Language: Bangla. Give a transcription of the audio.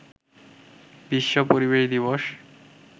বিশ্ব পরিবেশ দিবস